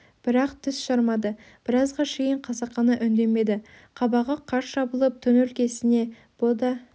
бірақ тіс жармады біразға шейін қасақана үндемеді қабағы қарс жабылып түн өлкесіне бұ да